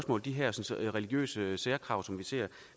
og de hersens religiøse særkrav som vi ser